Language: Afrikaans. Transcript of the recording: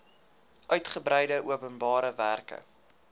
uitgebreide openbare werke